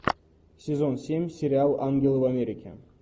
сезон семь сериал ангелы в америке